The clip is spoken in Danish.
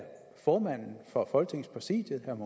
formanden for folketingets præsidium